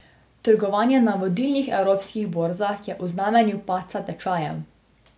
Trgovanje na vodilnih evropskih borzah je v znamenju padca tečajev.